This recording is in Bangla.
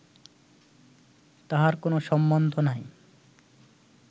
তাহার কোন সম্বন্ধ নাই